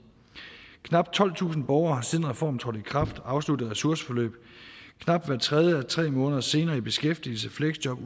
knap tolvtusind borgere har siden reformen trådte i kraft afsluttet et ressourceforløb og knap hver tredje er tre måneder senere i beskæftigelse fleksjob